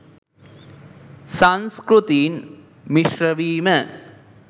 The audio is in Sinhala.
සංස්කෘතීන් මිශ්‍රවීම